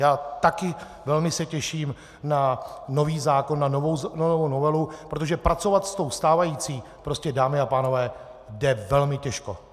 Já taky se velmi těším na nový zákon, na novou novelu, protože pracovat s tou stávající, prostě, dámy a pánové, jde velmi těžko.